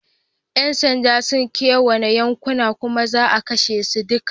Yan sanda sun kewaye yankunan kuma za a kwashe su duka.